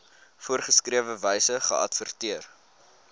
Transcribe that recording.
voorgeskrewe wyse geadverteer